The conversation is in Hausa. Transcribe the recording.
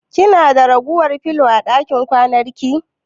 Kina da ragowar filo a ɗakin kwananki?